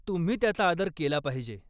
तुम्ही त्याचा आदर केला पाहिजे.